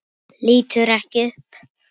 Lítur ekki upp.